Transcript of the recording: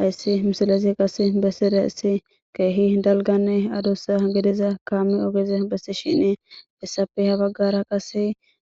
hayssi misilesi qase bessire issi keehi dalganne adussa gediza kaame ogeze bessi shinie issapi ha baggara qase